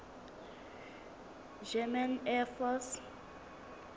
german air force